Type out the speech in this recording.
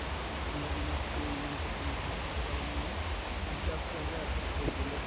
ঠাণ্ডা দিনত to ইমান patient নাহে এইটো কাৰণে মানে সুবিধা পোৱা যায় আকৌ কৰিবলৈও